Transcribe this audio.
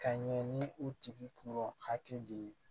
Ka ɲɛ ni u tigi kun hakili de ye